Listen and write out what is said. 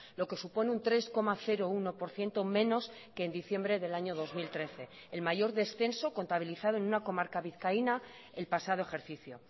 lo que supone un tres coma uno por ciento menos que en diciembre del año dos mil trece el mayor descenso contabilizado en una comarca vizcaína el pasado ejercicio